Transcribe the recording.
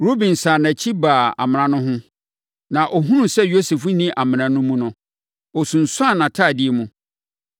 Ruben sane nʼakyi baa amena no ho, na ɔhunuu sɛ Yosef nni amena no mu no, ɔsunsuanee ne ntadeɛ mu.